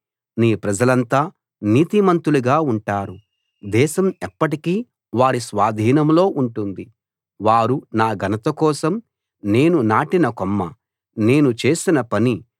నీ ప్రజలంతా నీతిమంతులుగా ఉంటారు దేశం ఎప్పటికీ వారి స్వాధీనంలో ఉంటుంది వారు నా ఘనత కోసం నేను నాటిన కొమ్మ నేను చేసిన పని